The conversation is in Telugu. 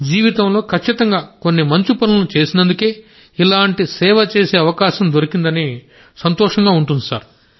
జీవితంలో ఖచ్చితంగా కొన్ని మంచి పనులను చేసినందుకే ఇలాంటి సేవ చేసే అవకాశం దొరికిందని సంతోషంగా ఉంటుంది సార్